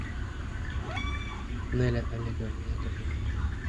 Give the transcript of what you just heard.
нелля олеговна яковлева